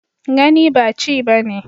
Gani ba chi ba ne.